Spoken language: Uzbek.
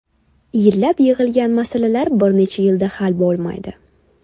Yillab yig‘ilgan masalalar bir necha yilda hal bo‘lib qolmaydi.